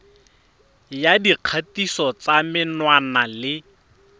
ya dikgatiso tsa menwana le